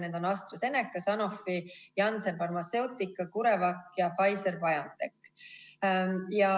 Need on AstraZeneca, Sanofi, Janssen Pharmaceutica, Curevac ja Pfizer-BioNTech.